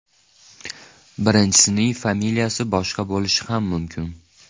Birinchisining familiyasi boshqa bo‘lishi ham mumkin.